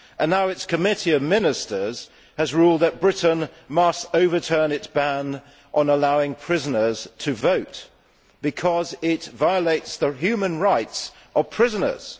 Now its Committee of Ministers has ruled that Britain must overturn its ban on allowing prisoners to vote because it violates the human rights of prisoners.